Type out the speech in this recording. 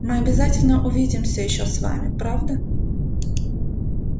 мы обязательно увидимся ещё с вами правда